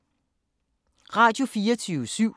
Radio24syv